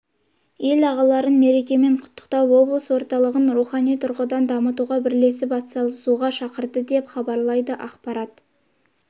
ел ағаларын мерекемен құттықтап облыс орталығын рухани тұрғыдан дамытуға бірлесіп атсалысуға шақырды деп хабарлайды қазақпарат